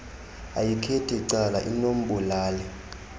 ayikhethi cala inobulali